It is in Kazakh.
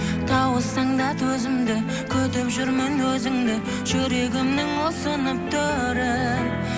тауыссаң да төзімді күтіп жүрмін өзіңді жүрегімнің ұсынып төрін